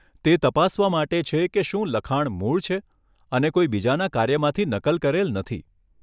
તે તપાસવા માટે છે કે શું લખાણ મૂળ છે અને કોઈ બીજાના કાર્યમાંથી નકલ કરેલ નથી.